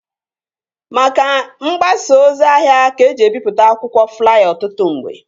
Maka mgbasa ozi ahịa ka eji ebipụta akwụkwọ flaya ọtụtụ mgbe